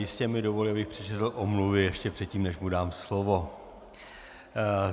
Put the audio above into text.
Jistě mi dovolí, abych přečetl omluvy ještě předtím, než mu dám slovo.